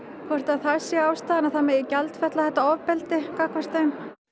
hvort að það sé ástæðan að það megi gjaldfella þetta ofbeldi gagnvart þeim